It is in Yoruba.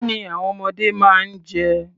Kí ni àwọn ọmọdé máa ń jẹ?